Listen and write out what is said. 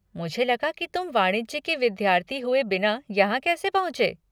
मुझे लगा कि तुम वाणिज्य के विद्यार्थी हुए बिना यहाँ कैसे पहुँचे?